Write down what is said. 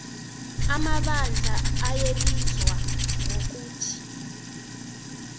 amabandla ayebizwa ngokuthi